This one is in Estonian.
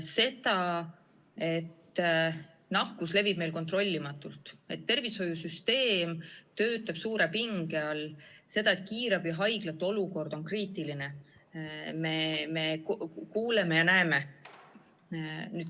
Seda, et nakkus levib meil kontrollimatult, et tervishoiusüsteem töötab suure pinge all ja et kiirabihaiglate olukord on kriitiline, me kuuleme ja näeme.